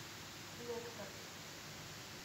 лектор